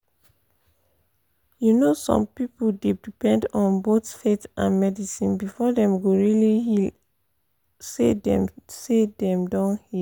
you know some people dey depend on both faith and medicine before dem go really feel say dem say dem don heal.